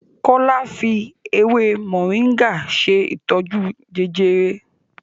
Kola fí ewé Moringa ṣe ìtọjú Jejere.